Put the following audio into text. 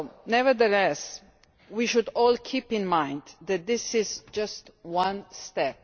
Nevertheless, we should all keep in mind that this is just one step.